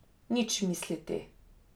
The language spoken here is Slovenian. Nič misliti!